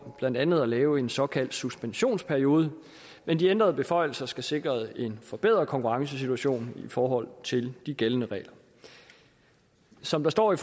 blandt andet at lave en såkaldt suspensionsperiode men de ændrede beføjelser skal sikre en forbedret konkurrencesituation i forhold til de gældende regler som der står i